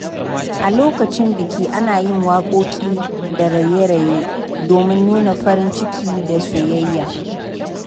A lokacin biki, ana yin waƙoƙi da raye-raye domin nuna farin ciki da soyayya.